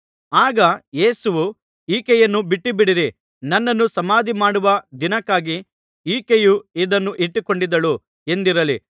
ಆಗ ಯೇಸುವು ಈಕೆಯನ್ನು ಬಿಟ್ಟುಬಿಡಿರಿ ನನ್ನನ್ನು ಸಮಾಧಿ ಮಾಡುವ ದಿನಕ್ಕಾಗಿ ಈಕೆಯು ಇದನ್ನು ಇಟ್ಟುಕೊಂಡಿದ್ದಳು ಎಂದಿರಲಿ